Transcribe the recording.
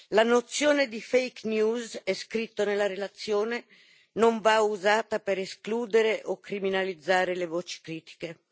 La nozione di fake news come è scritto nella relazione, non va usata per escludere o criminalizzare le voci critiche.